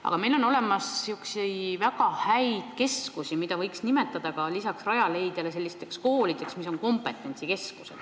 Aga meil on lisaks Rajaleidjale olemas väga häid keskusi, mida võiks nimetada koolideks, mis on ühtlasi ka kompetentsikeskused.